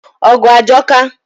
ọgụ ajọka.